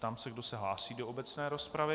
Ptám se, kdo se hlásí do obecné rozpravy.